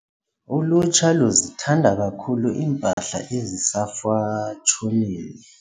Ulutsha luzithanda kakhulu iimpahla ezisefashonini.